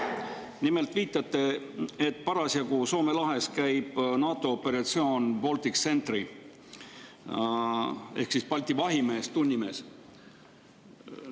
Nimelt, te viitate, et parasjagu käib Soome lahes NATO operatsioon Baltic Sentry ehk Balti vahimees, tunnimees.